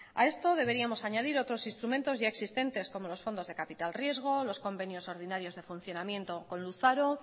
a esto deberíamos añadir otros instrumentos ya existentes como los fondos de capital riesgo los convenios ordinarios de funcionamiento con luzaro